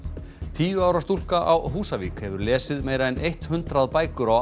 tíu ára stúlka á Húsavík hefur lesið meira en eitt hundrað bækur á